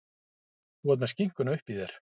Þú með skinkuna uppí þér.